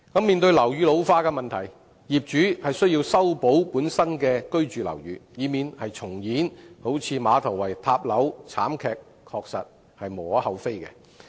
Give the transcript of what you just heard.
面對樓宇老化問題，業主需要維修本身的住宅樓宇，以免重演有如馬頭圍道唐樓倒塌的慘劇，確實是無可厚非的。